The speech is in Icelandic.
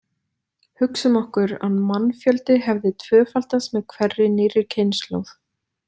Hugsum okkur að mannfjöldi hefði tvöfaldast með hverri nýrri kynslóð.